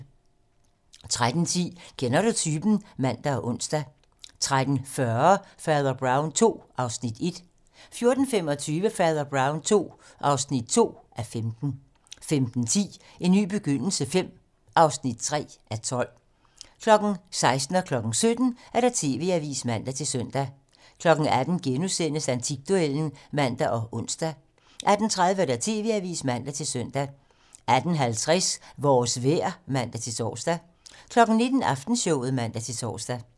13:10: Kender du typen? (man og ons) 13:40: Fader Brown II (1:15) 14:25: Fader Brown II (2:15) 15:10: En ny begyndelse V (3:12) 16:00: TV-Avisen (man-søn) 17:00: TV-Avisen (man-søn) 18:00: Antikduellen *(man og ons) 18:30: TV-Avisen (man-søn) 18:50: Vores vejr (man-tor) 19:00: Aftenshowet (man-tor)